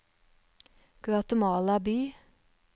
Guatemala by